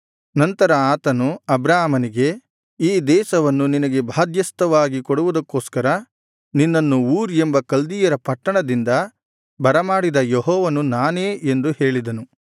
ನಂತರ ಆತನು ಅಬ್ರಾಮನಿಗೆ ಈ ದೇಶವನ್ನು ನಿನಗೆ ಬಾಧ್ಯಸ್ಥವಾಗಿ ಕೊಡುವುದಕ್ಕೋಸ್ಕರ ನಿನ್ನನ್ನು ಊರ್ ಎಂಬ ಕಲ್ದೀಯರ ಪಟ್ಟಣದಿಂದ ಬರಮಾಡಿದ ಯೆಹೋವನು ನಾನೇ ಎಂದು ಹೇಳಿದನು